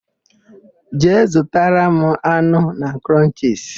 Jee zụtara m anụ na Krọnchisi!